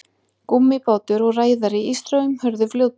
gúmmíbátur og ræðari í straumhörðu fljóti